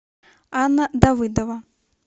анна давыдова